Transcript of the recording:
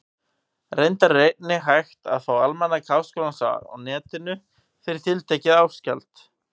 Reyndar er einnig hægt að fá Almanak Háskólans á Netinu, fyrir tiltekið árgjald.